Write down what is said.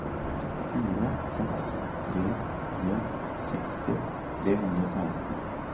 fire seks tre tre seksti tre hundre og seksten